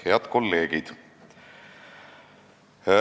Head kolleegid!